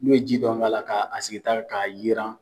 N'u ye ji dɔɔni k'a la ka sigi ta la ka yiran